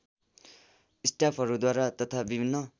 स्टाफहरूद्वारा तथा विभिन्न